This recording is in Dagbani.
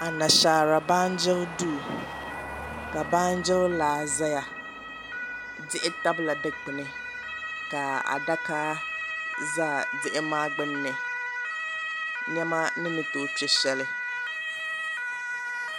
Anashaara baanjiri duu ka baanjiri laa ʒɛya diɣi tabila dikpuni ka adaka ʒɛ diɣi maa gbunni niɛma ni ni tooi kpɛ shɛli